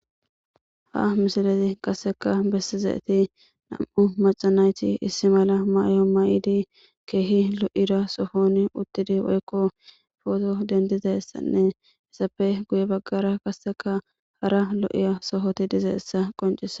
Ha misileza qaseka besidaysi nam'u maca nayti issi mala mayo mayid keehi lo'ida sohoni utid photo dendidaysanne izappe guye bagara qaseka hara lo'iya sohoti dizaysa qoncises